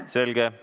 Selge.